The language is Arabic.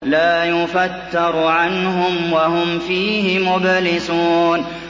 لَا يُفَتَّرُ عَنْهُمْ وَهُمْ فِيهِ مُبْلِسُونَ